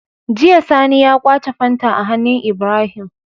Jiya sani ya kwace fanta a hannun Ibrahim